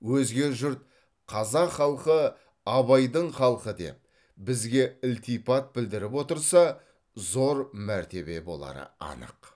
өзге жұрт қазақ халқы абайдың халқы деп бізге ілтипат білдіріп отырса зор мәртебе болары анық